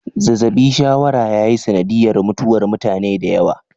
Zazabi shawara ya yi sanadiyar mutuwar mutane da yawa.